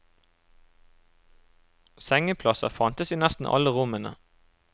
Sengeplasser fantes i nesten alle rommene.